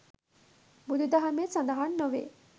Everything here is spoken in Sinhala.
බුදු දහමේ සඳහන් නොවේ.